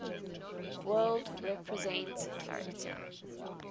world represent character